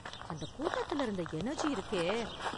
அந்த கூட்டத்தில் இருந்த எனர்ஜி இருக்கே!